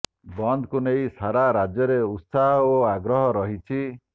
ବନ୍ଦକୁ ନେଇ ସାରା ରାଜ୍ୟରେ ଉତ୍ସାହ ଓ ଆଗ୍ରହ ରହିଛି